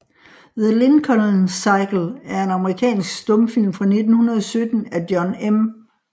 The Lincoln Cycle er en amerikansk stumfilm fra 1917 af John M